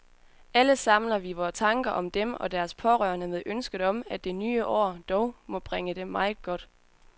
Alle samler vi vore tanker om dem og deres pårørende med ønsket om, at det nye år dog må bringe dem meget godt.